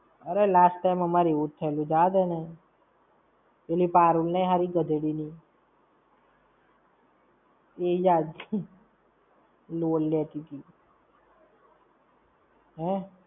અરે last time અમારે એવું જ થયેલું જવાદેને. પેલી પારુલ નઈ હારી ગધેડીની, એ યાર load લેતીતી.